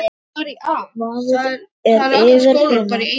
Vaðið er yfir hina.